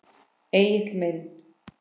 Egill minn.